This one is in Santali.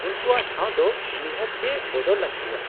-ᱩᱱᱠᱩᱣᱟᱜ ᱴᱷᱟᱣ ᱫᱚ ᱱᱤᱦᱟᱹᱛ ᱜᱮ ᱵᱚᱫᱚᱞ ᱞᱟᱹᱠᱛᱤᱭᱟ ᱾